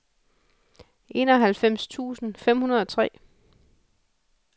enoghalvfems tusind fem hundrede og tre